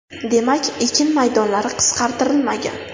Demak, ekin maydonlari qisqartirilmagan.